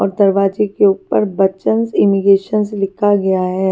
और दरवाजे के ऊपर बच्चन्स इनिगेसन्स लिखा हुआ है।